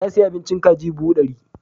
Ya sayi abincin kaji buhu ɗari.